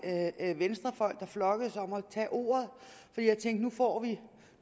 venstrefolk der flokkedes om at tage ordet for jeg tænkte nu får vi